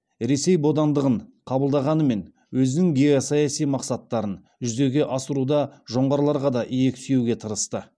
ресей бодандығын қабылдағанымен өзінің геосаяси мақсаттарын жүзеге асыруда жоңғарларға да иек сүйеуге тырысты